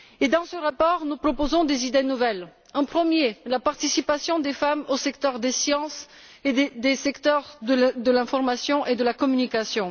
Dans ce rapport, nous proposons des idées nouvelles. Premièrement, la participation des femmes au secteur des sciences ainsi qu'au secteur de l'information et de la communication.